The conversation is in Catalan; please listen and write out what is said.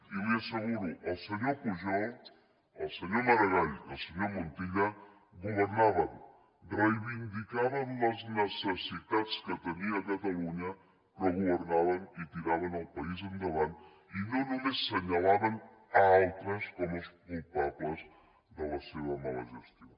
i li ho asseguro el senyor pujol el senyor maragall i el senyor montilla governaven reivindicaven les necessitats que tenia catalunya però governaven i tiraven el país endavant i no només assenyalaven d’altres com els culpables de la seva mala gestió